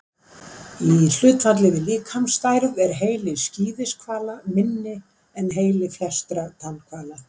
Í hlutfalli við líkamsstærð er heili skíðishvala minni en heili flestra tannhvala.